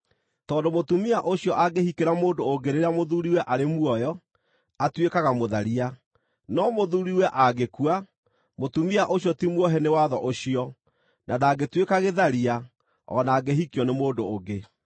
Tondũ mũtumia ũcio angĩhikĩra mũndũ ũngĩ rĩrĩa mũthuuriwe arĩ muoyo, atuĩkaga mũtharia. No mũthuuriwe angĩkua, mũtumia ũcio ti muohe nĩ watho ũcio, na ndangĩtuĩka gĩtharia o na angĩhikio nĩ mũndũ ũngĩ.